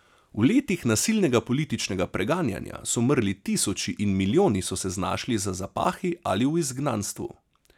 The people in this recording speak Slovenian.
V letih nasilnega političnega preganjanja so umrli tisoči in milijoni so se znašli za zapahi ali v izgnanstvu.